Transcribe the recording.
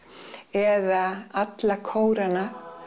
eða alla